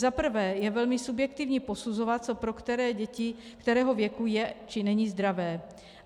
Za prvé je velmi subjektivní posuzovat, co pro které děti kterého věku je, či není zdravé.